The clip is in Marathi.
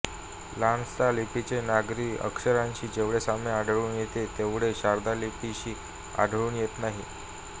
लान्त्सा लिपीचे नागरी अक्षरांशी जेवढे साम्य आढळून येते तेवढे शारदा लिपीशी आढळून येत नाही